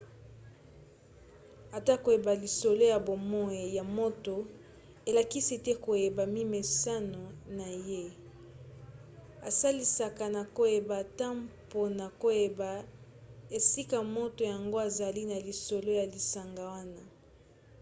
ata koyeba lisolo ya bomoi ya moto elakisi te koyeba mimeseno na ye esalisaka na koyeba ata mpona koyeba esika moto yango azali na lisolo ya lisanga wana